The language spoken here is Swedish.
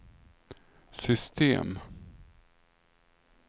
system